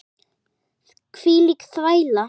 Hvílík þvæla.